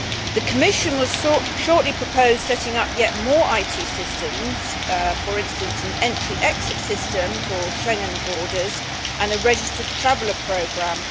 The Commission will shortly propose setting up yet more IT systems, for instance an entry exit system for Schengen borders and a registered traveller programme.